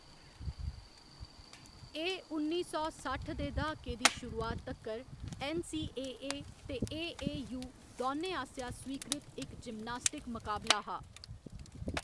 एह्‌‌ उन्नी सौ सट्ठ दे द्हाके दी शुरुआत तक्कर ऐन्न.सी.ए.ए. ते ए.ए.यू. दौनें आसेआ स्वीकृत इक जिम्नास्टिक मकाबला हा।